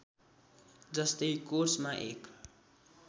जस्तै कोर्समा एक